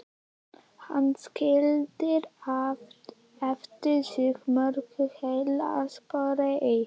Hann skildi eftir sig mörg heillaspor í